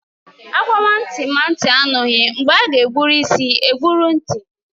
Agwawa nti ma nti anoghi, mgbe aga egburu isi egburu nti